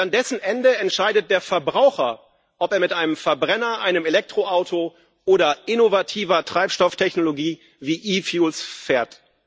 Und an dessen Ende entscheidet der Verbraucher, ob er mit einem Verbrenner, einem Elektroauto oder innovativer Treibstofftechnologie wie E fuels fährt.